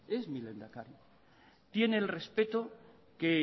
es mi lehendakari tiene el respeto que